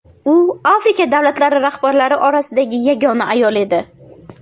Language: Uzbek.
U Afrika davlatlari rahbarlari orasidagi yagona ayol edi.